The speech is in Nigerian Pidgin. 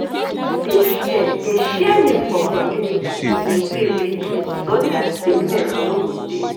dey share dey share milk for community in a way wey clean so dat sickness no go dey